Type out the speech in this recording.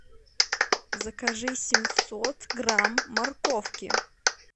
закажи семьсот грамм морковки